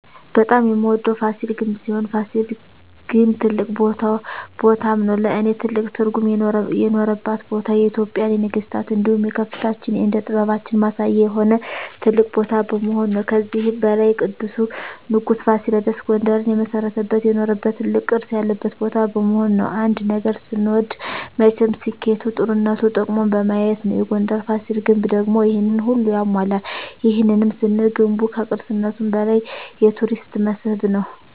በጣም የምወደዉ ፋሲል ግንብ ሲሆን ፋሲል ግን ትልቅ ቦታም ነዉ ለእኔ ትልቅ ትርጉም የኖረባት ቦታ የኢትጵያን የነገስታት እንዲሁም የከፍታችን የእደ ጥበባችን ማሳያ የሆነ ትልቅ ቦታ በመሆኑ ነዉ። ከዚህም በላይ ቅዱሱ ንጉስ ፋሲለደስ ጉንደርን የመሰረተበት የኖረበት ትልቅ ቅርስ ያለበት ቦታ በመሆኑ ነዉ። አንድ ነገር ስንወድ መቸም ስኬቱ ጥሩነቱ ጥቅሙን በማየት ነዉ የጉንደሩ ፋሲል ግንብ ደግሞ ይሄንን ሁሉ ያሟላል ይህንንም ስንል ገንቡ ከቅርስነቱም በላይ የቱሪስት መስህብ ነዉ።